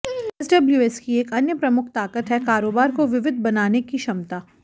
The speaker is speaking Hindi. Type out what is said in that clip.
एसडब्ल्यूएस की एक अन्य प्रमुख ताकत है कारोबार को विविध बनाने की क्षमता